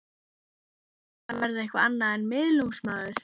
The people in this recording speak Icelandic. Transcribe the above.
Er hann að fara að verða eitthvað annað en miðlungsmaður?